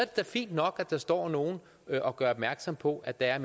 da fint nok at der står nogle og gøre opmærksom på at der